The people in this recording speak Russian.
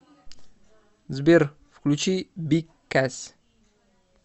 сбер включи биг кэз